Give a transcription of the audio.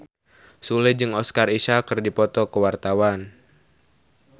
Sule jeung Oscar Isaac keur dipoto ku wartawan